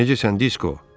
Necəsən, Disko?